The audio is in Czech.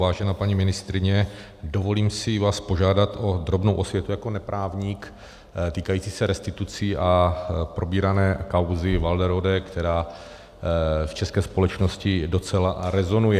Vážená paní ministryně, dovolím si vás požádat o drobnou osvětu jako neprávník, týkající se restitucí a probírané kauzy Walderode, která v české společnosti docela rezonuje.